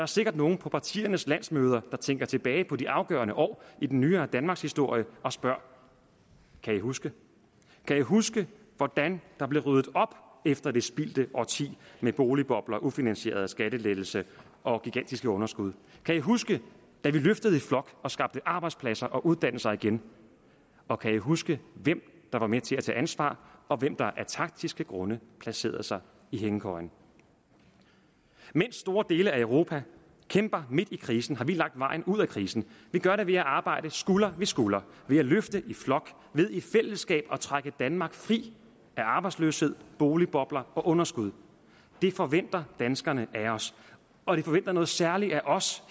sikkert nogle på partiernes landsmøder der tænker tilbage på de afgørende år i den nyere danmarkshistorie og spørger kan i huske kan i huske hvordan der blev ryddet op efter det spildte årti med boligbobler ufinansierede skattelettelser og gigantiske underskud kan i huske da vi løftede i flok og skabte arbejdspladser og uddannelser igen og kan i huske hvem der var med til at tage ansvar og hvem der af taktiske grunde placerede sig i hængekøjen mens store dele af europa kæmper midt i krisen har vi lagt vejen ud af krisen vi gør det ved at arbejde skulder ved skulder ved at løfte i flok ved i fællesskab at trække danmark fri af arbejdsløshed boligbobler og underskud det forventer danskerne af os og de forventer noget særligt af os